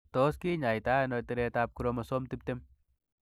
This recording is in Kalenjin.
Tos kinyaita ono tiretab chromosome tiptem?